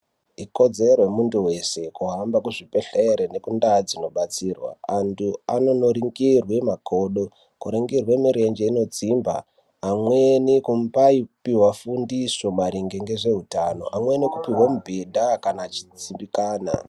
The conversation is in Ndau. Ikodzero yemunthu weshe kuhamba muzvibhedhlere nekundau dzinobatsirwa anthu anonoringirwe makodo kuringirwa mirenje inodzimba amweni kumbaipiwa fundiso maringe ngezveutano amweni kupihwe mibhedha kana achidzimbikana.